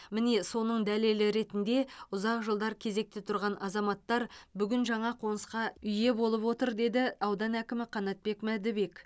міне соның дәлелі ретінде ұзақ жылдар кезекте тұрған азаматтар бүгін жаңа қонысқа ие болып отыр деді аудан әкімі қанатбек мәдібек